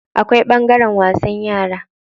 Akwai ɓangaren wasan yara.